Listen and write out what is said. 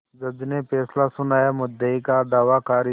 जज ने फैसला सुनायामुद्दई का दावा खारिज